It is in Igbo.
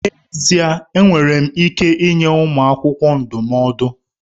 N'ezie! Enwere m ike nye ụmụ akwụkwọ ndụmọdụ.